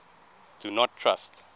do not trust